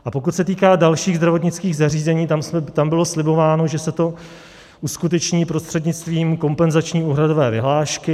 A pokud se týká dalších zdravotnických zařízení, tam bylo slibováno, že se to uskuteční prostřednictvím kompenzační úhradové vyhlášky.